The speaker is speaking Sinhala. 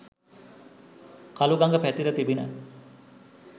කළුගඟ පැතිර තිබිණ.